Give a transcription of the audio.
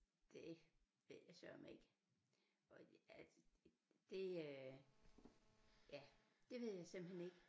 Det ved jeg søreme ikke og altså det øh ja det ved jeg simpelthen ikke